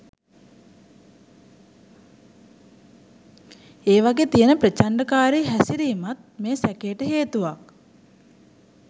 ඒවගේ තියන ප්‍රචන්ඩකාරී හැසිරීමත් මේ සැකේට හේතුවක්